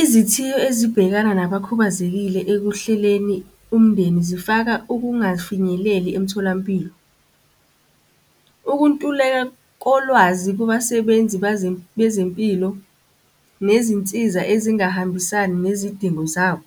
Izithiyo ezibhekana nabakhubazekile ekuhleleni umndeni zifaka ukungafinyeleli emtholampilo. Ukuntuleka kolwazi kubasebenzi bezempilo, nezinsiza ezingahambisani nezidingo zabo.